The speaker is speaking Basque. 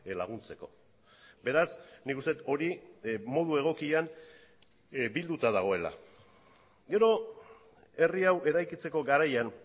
laguntzeko beraz nik uste dut hori modu egokian bilduta dagoela gero herri hau eraikitzeko garaian